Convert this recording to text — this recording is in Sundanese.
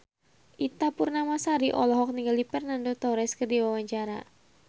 Ita Purnamasari olohok ningali Fernando Torres keur diwawancara